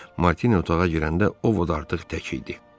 Martini otağa girəndə O Vod artıq tək idi.